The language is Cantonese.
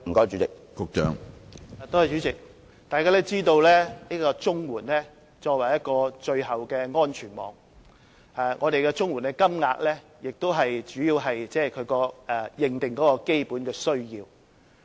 主席，眾所周知，綜援是作為最後的安全網，綜援金額主要是支援認定的基本需要。